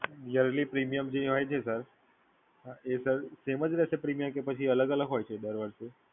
Yearly premium જે હોય છે સર એ એમ જ રહેશે કે પછી અલગ-અલગ હોય છે દર વર્ષે?